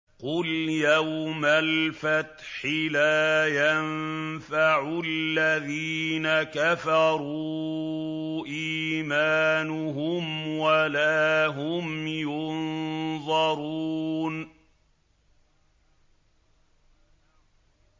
قُلْ يَوْمَ الْفَتْحِ لَا يَنفَعُ الَّذِينَ كَفَرُوا إِيمَانُهُمْ وَلَا هُمْ يُنظَرُونَ